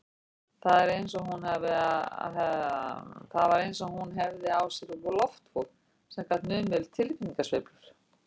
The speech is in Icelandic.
Það var eins og hún hefði í sér loftvog sem gat numið tilfinningasveiflur